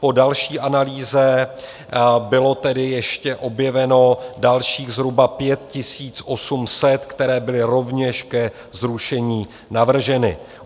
Po další analýze bylo tedy ještě objeveno dalších zhruba 5 800, které byly rovněž ke zrušení navrženy.